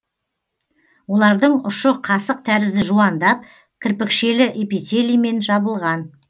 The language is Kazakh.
олардың ұшы қасық тәрізді жуандап кірпікшелі эпителиімен жабылған